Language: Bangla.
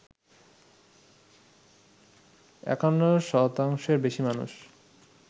৫১ শতাংশের বেশি মানুষ